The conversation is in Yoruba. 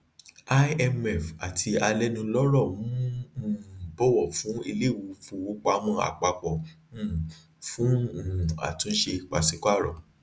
imf àti alénulọrọ ń um bọwọ fún iléìfowópamọ àpapọ um fún um àtúnṣe pàṣípààrọ